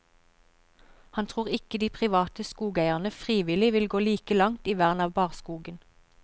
Han tror ikke de private skogeierne frivillig vil gå like langt i vern av barskogen.